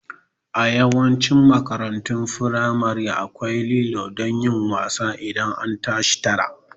A Yawancin makarantun firamare akwai lilo don yin wasa idan an tashi tara